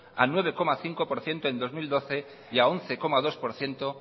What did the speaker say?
a nueve coma cinco por ciento en dos mil doce y a once coma dos por ciento